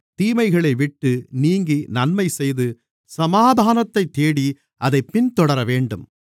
தீமைகளைவிட்டு நீங்கி நன்மைசெய்து சமாதானத்தைத் தேடி அதைப் பின்தொடரவேண்டும்